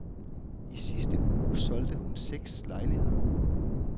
I sidste uge solgte hun seks lejligheder.